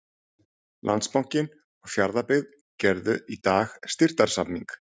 Landsbankinn og Fjarðabyggð gerðu í dag styrktarsamning.